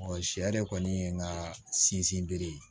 sɛ de kɔni ye n ka sinsin bere ye